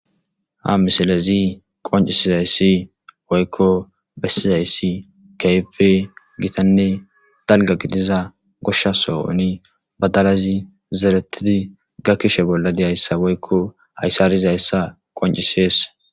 Ha misilezi qoncisizayssi woykko bessizayssi keype gitanne dalga gidiza goshsha sooni badalazi zeretidi ga kishe bolla deyayssa woykko hayssarizayssa qoncisees.